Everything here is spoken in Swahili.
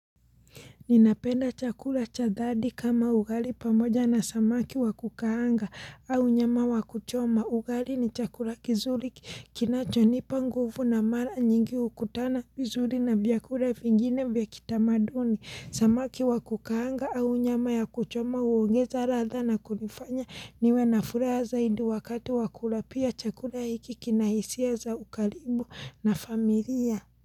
Ninapenda chakula chathadi kama ugali pamoja na samaki wakukaanga au nyama wakuchoma ugali ni chakula kizuri kinacho nipa nguvu na mara nyingi ukutana vizuri na vyakura vingine vya kitamaduni. Samaki wakukaanga au nyama ya kuchoma uongeza ratha na kunifanya niwe na furaha zaidi wakati wakula pia chakula hiki kinahisia za ukaribu na familia.